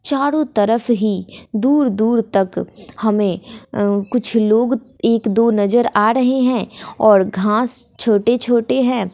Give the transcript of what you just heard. चारों तरफ ही दूर दूर तक हमें कुछ लोग एक दो नजर आ रहे हैं और घास छोटे छोटे हैं।